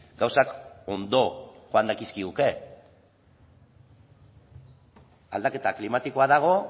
gauzak ondo joan dakizkiguke aldaketa klimatikoa dago